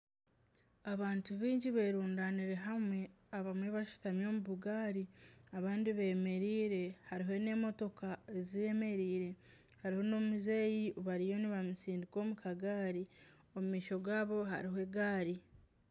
Abantu baingi berundanire hamwe abamwe bashutami omu bugari abandi bemereire hariho n'emotoka ezemereire hariho n'omuzeeyi bariyo nibamusindika omu kagaari omu maisho gaabo haribo egaari.